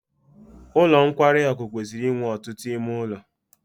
Ụlọ nkwarị akụ kwesịrị inwe ọtụtụ ime ụlọ.